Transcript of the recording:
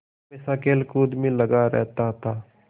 हमेशा खेलकूद में लगा रहता था